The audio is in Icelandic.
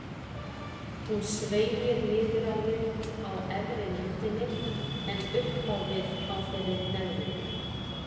Hún sveigir niður á við á efri myndinni en upp á við á þeirri neðri.